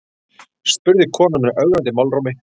spurði konan með ögrandi málrómi.